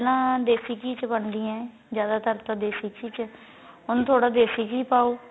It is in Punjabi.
ਪਹਿਲਾਂ ਦੇਸੀ ਘੀ ਚ ਬਣਦੀਆਂ ਜਿਆਦਾ ਤਰ ਤਾਂ ਦੇਸੀ ਘੀ ਚ ਹੁਣ ਥੋੜਾ ਦੇਸੀ ਘੀ ਪਾਉ